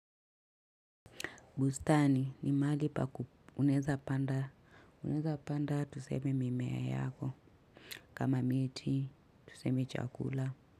Bustani ni mahali pa unaeza panda tuseme mimea yako kama miti tuseme chakula.